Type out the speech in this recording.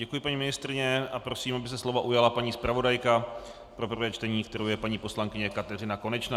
Děkuji paní ministryni a prosím, aby se slova ujala paní zpravodajka pro prvé čtení, kterou je paní poslankyně Kateřina Konečná.